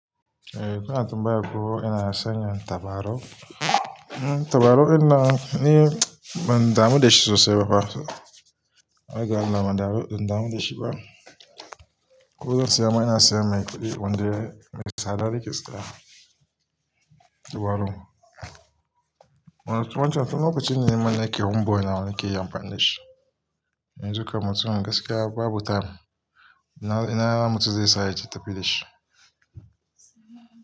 Eh, tun a tun baya ko ina sanya tabarau Tabarau din nan ni ban damu da shi sosai ba fa. Har ga Allah ban damu da shi ba. Ko zan saya ma, ina siyan mai kuɗi wanda me tsada nake siya tabarun. Wancan tun lokacin ne mana nake home boy nawa nakeyi amfani da shi yanzu kam mutum Gaskiya babu time. Ina mutum zai sa ya je tafi da shi.